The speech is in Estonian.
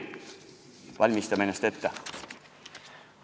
Valmistame ennast ette!